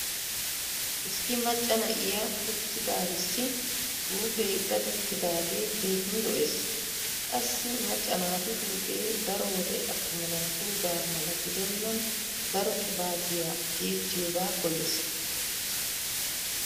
Issi macca na'iya uttidaarissi huuphe dadettidaagee keehin lo'ees. Qassi macca naatu huuphee daro wode attuma naatuugaa mala gidennan daro qibaatiya tiyettiyoogaa koyyees.